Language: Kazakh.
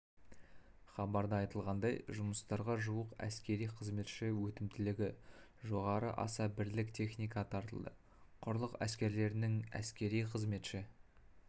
хабарда айтылғандай жұмыстарға жуық әскери қызметші өтімділігі жоғары аса бірлік техника тартылды құрлық әскерлерінің әскери қызметші